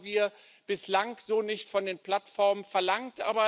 Das haben wir bislang so nicht von den Plattformen verlangt.